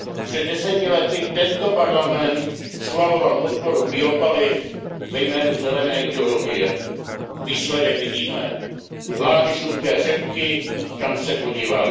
Před deseti lety tento Parlament schvaloval podporu biopaliv ve jménu zelené ideologie. Výsledek vidíme lány žluté řepky, kam se podíváš.